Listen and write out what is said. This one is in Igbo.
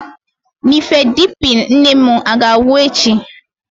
Nifedipine nne m a ga-agwụ echi?